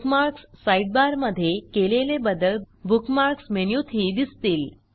bookmarks sidebar मधे केलेले बदल बुकमार्क्स मेनूतही दिसतील